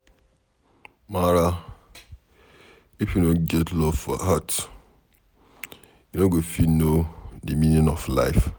Mara, if you no get love for heart, u no go fit know de meaning of life